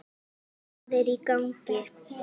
Hvað er í gangi!